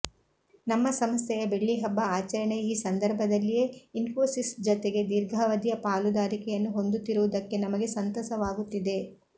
ನಮ್ಮ ಸಂಸ್ಥೆಯ ಬೆಳ್ಳಿ ಹಬ್ಬ ಆಚರಣೆಯ ಈ ಸಂದರ್ಭದಲ್ಲಿಯೇ ಇನ್ಫೋಸಿಸ್ ಜತೆಗೆ ದೀರ್ಘಾವಧಿಯ ಪಾಲುದಾರಿಕೆಯನ್ನು ಹೊಂದುತ್ತಿರುವುದಕ್ಕೆ ನಮಗೆ ಸಂತಸವಾಗುತ್ತಿದೆ